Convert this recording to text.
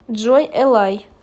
джой элай